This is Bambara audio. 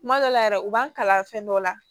Kuma dɔ la yɛrɛ u b'an kalan fɛn dɔ la